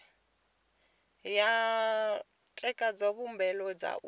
ya ṋekedza mbuelo dza u